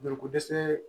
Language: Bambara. Joliko dɛsɛ